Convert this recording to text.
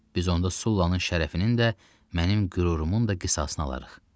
Biz onda Sullananın şərəfinin də, mənim qürurumun da qisasını alarıq.